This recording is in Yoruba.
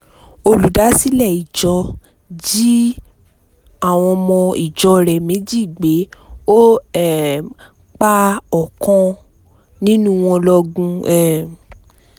olùdásílẹ̀ ìjọ jí àwọn ọmọ ìjọ rẹ̀ méjì gbé ọ um pa ọ̀kan nínú wọn lọgun um